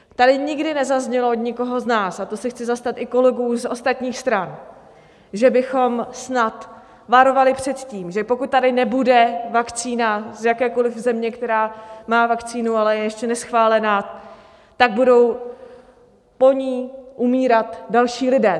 Tady nikdy nezaznělo od nikoho z nás - a to se chci zastat i kolegů z ostatních stran - že bychom snad varovali před tím, že pokud tady nebude vakcína z jakékoli země, která má vakcínu, ale je ještě neschválená, tak budou po ní umírat další lidé.